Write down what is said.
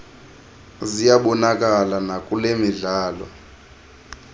ziyabonakala nakule midlalo